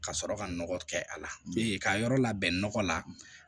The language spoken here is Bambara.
Ka sɔrɔ ka nɔgɔ kɛ a la ka yɔrɔ labɛn nɔgɔ la